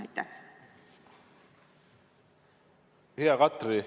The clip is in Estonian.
Hea Katri!